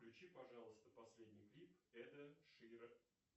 включи пожалуйста последний клип эда шира